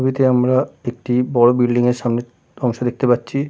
ছবিতে আমরা একটি বড়ো বিল্ডিং এর সামনের অংশ দেখতে পাচ্ছি ।